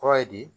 Kɔrɔ ye di